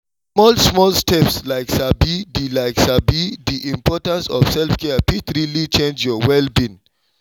small-small steps like sabi the like sabi the importance of self-care fit really change your well-being